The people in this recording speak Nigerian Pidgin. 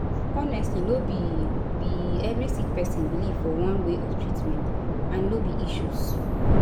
honestly no be be every sick pesin belief for one way of treatment and no be issues